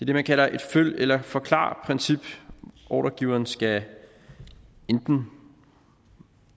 det man kalder et følg eller forklar princip ordregiveren skal enten